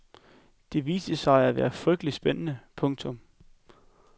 Det viste sig at være frygteligt spændende. punktum